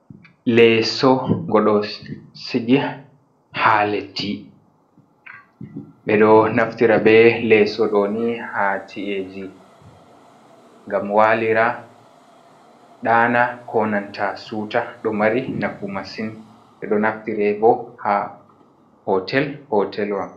"Leso" ngo ɗo sigi ha leddi ɗeɗo naftira ɓe leso ɗoni ha ci’eji ngam walira ɗana konanta siuta ɗo mari nafu masin ɓeɗo naftire bo ha hotel hotelwa.